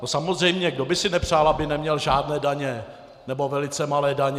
No samozřejmě, kdo by si nepřál, aby neměl žádné daně, nebo velice malé daně.